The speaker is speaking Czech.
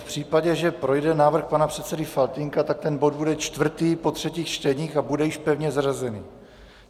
V případě, že projde návrh pana předsedy Faltýnka, tak ten bod bude čtvrtý po třetích čteních a bude již pevně zařazený.